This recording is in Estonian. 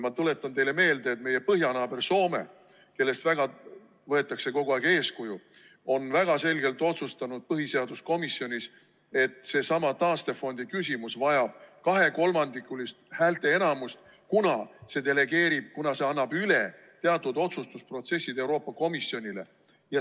Ma tuletan teile meelde, et meie põhjanaaber Soome, kellest võetakse kogu aeg eeskuju, on väga selgelt otsustanud põhiseaduskomisjonis, et seesama taastefondi küsimus vajab kahekolmandikulist häälteenamust, kuna see annab teatud otsustusprotsessid Euroopa Komisjonile üle.